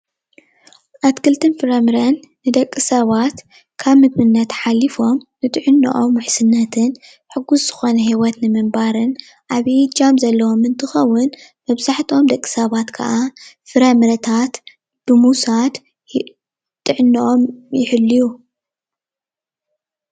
ኣትክልትን ፍራምረን ን ደቂ ሰባት ካብ ምግብነት ሓሊፎም ንጥዕንኦም ውሕስነት ሕጉስ ዝኮነ ሂወት ንምንባርን ዓብይ እጃም ዘለዎምን እንትከውን መብዛሕትኦም ደቂ ሰባት ክዓ ፍረምረታት ብምውሳድ ጥዕንኦም ይሕልዩ::